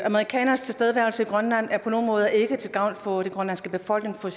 amerikanernes tilstedeværelse i grønland er på nogle måder ikke til gavn for den grønlandske befolkning for